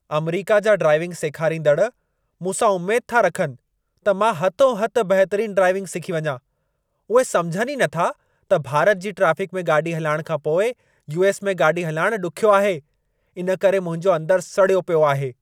अमरीका जा ड्राइविंग सेखारींदड़ु मूं सां उमेद था रखनि त मा हथों हथ बहितरीन ड्राइविंग सिखी वञां। उहे समुझनि ई नथा त भारत जी ट्राफ़िक में गाॾी हलाइण खां पोइ यू.एस. में गाॾी हलाइण ॾुख्यो आहे। इन करे मुंहिंजो अंदर सड़ियो पियो आहे।